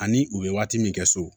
Ani u ye waati min kɛ so